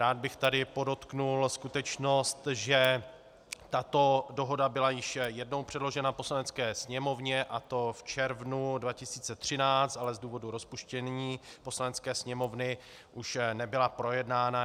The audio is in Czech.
Rád bych tady podotkl skutečnost, že tato dohoda byla již jednou předložena Poslanecké sněmovně, a to v červnu 2013, ale z důvodu rozpuštění Poslanecké sněmovny už nebyla projednána.